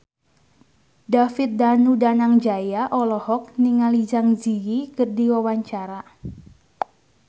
David Danu Danangjaya olohok ningali Zang Zi Yi keur diwawancara